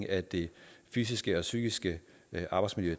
af det fysiske og psykiske arbejdsmiljø